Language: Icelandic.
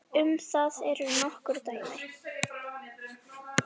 Um það eru nokkur dæmi.